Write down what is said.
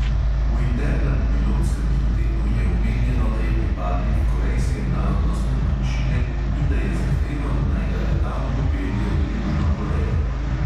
V internem pilotskem biltenu je omenjeno, da je pripadnik korejske narodnostne manjšine in da je zahteval, naj ga letalo popelje v južno korejo.